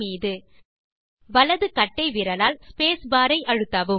மீது வலது கட்டை விரலால் ஸ்பேஸ் பார் ஐ அழுத்தவும்